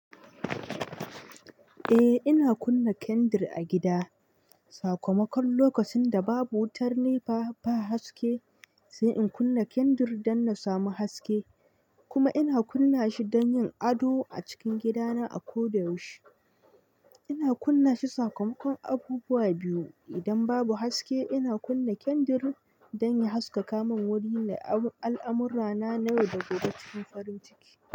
Eh, ina kunna kandir a gida. Sakamakon lokacin da babu wutar nefa ba haske, sai in kunna kandir don na samu haske. Kuma ina kunna shi don yin ado a cikin gidana a koda yaushe. Ina kunna shi sakamakon abubuwa biyu. Idan babu haske, ina kunna kandir don ya haskaka min wurin nayi al'amurrana na yau da gobe cikin farin ciki.